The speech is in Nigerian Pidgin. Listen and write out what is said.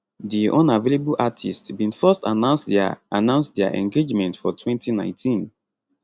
di unavailable artiste bin first announce dia announce dia engagement for 2019